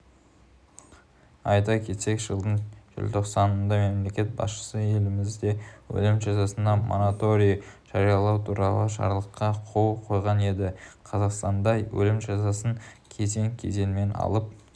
айта кетсек жылдың желтоқсанында мемлекет басшысы елімізде өлім жазасына мораторий жариялау туралы жарлыққа қол қойған еді қазақстанда өлім жазасын кезең-кезеңмен алып